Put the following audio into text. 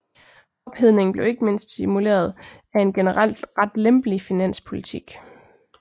Ophedningen blev ikke mindst stimuleret af en generelt ret lempelig finanspolitik